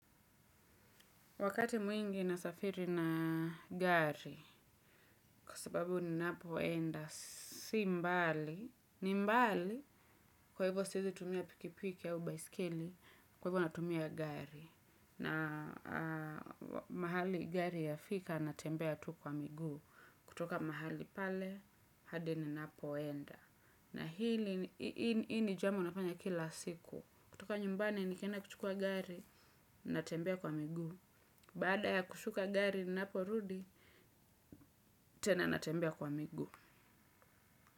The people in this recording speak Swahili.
Wakati mwingi nasafiri na gari kwa sababu ninapoenda si mbali. Ni mbali kwa hivyo siwezi tumia pikipiki au baiskeli kwa hivyo natumia gari. Na mahali gari ya fika natembea tu kwa miguu kutoka mahali pale hadi ninapoenda. Na hili ni jambo nafanya kila siku. Kutoka nyumbani nikienda kuchukua gari natembea kwa miguu. Baada ya kushuka gari ninaporudi, tena natembea kwa miguu.